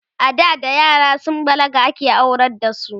ada da yara sun balaga ake aurar da su